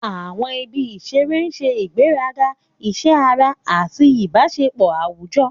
Àwọn ibi ìṣeré ń ṣe ìgbéga iṣẹ́ ara àti ìbáṣepọ̀ àwùjọ.